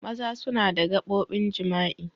Maza suna da gaɓobin jima'i.